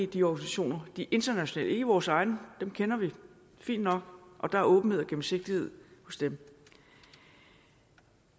de organisationer de internationale ikke i vores egne dem kender vi fint nok og der er åbenhed og gennemsigtighed hos dem